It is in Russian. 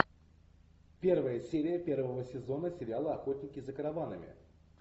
первая серия первого сезона сериала охотники за караванами